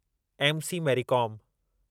M. C. Mary com